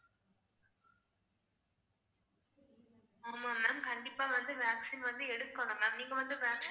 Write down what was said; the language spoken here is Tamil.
ஆமா ma'am கண்டிப்பா வந்து vaccine வந்து எடுக்கணும் ma'am நீங்க வந்து vac~